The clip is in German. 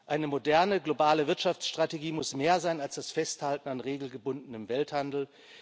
Eine moderne globale Wirtschaftsstrategie muss mehr sein als das Festhalten an regelgebundenem Welthandel.